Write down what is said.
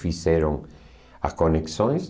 Fizeram as conexões.